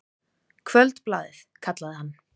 Kvöldblaðið, kallaði hann.